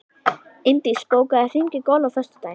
Eindís, bókaðu hring í golf á föstudaginn.